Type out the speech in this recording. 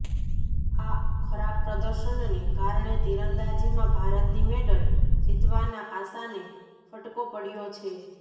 આ ખરાબ પ્રદર્શનને કારણે તીરંદાજીમાં ભારતની મેડલ જીતવાના આશાને ફટકો પડયો છે